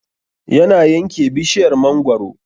Yana yanke bishiryar mangaro